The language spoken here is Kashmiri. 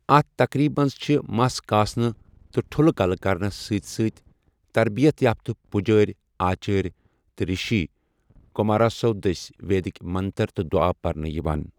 اَتھ تقریٖبہِ منٛز چھِ مَس کاسنہٕ تہٕ ٹھوٚلہٕ کَلہٕ کرنَس سۭتۍ سۭتۍ تربیت یافتہ پُجٲۍ، آچٲرۍ تہٕ رشی کماراسَو دٔسۍ ویدک منتر تہٕ دُعا پرنہٕ یِوان۔